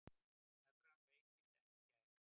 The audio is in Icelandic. Evran veiktist enn í gær